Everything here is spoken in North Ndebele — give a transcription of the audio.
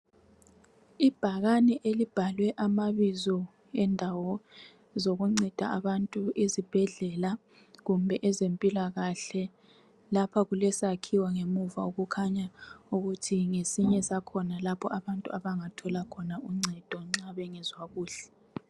ibhakane elibhalwe amabizo endawo zokunceda abantu izibhedlela kumbe ezempilakahle lapha kulesakhiwo ngemuva okukhanya ukuthi ngesinye sakhona lapho abantu abangathola khona uncedo nxa bengezwa kuhle